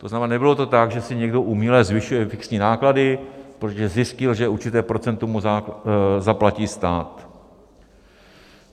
To znamená, nebylo to tak, že si někdo uměle zvyšuje fixní náklady, protože zjistil, že určité procento mu zaplatí stát.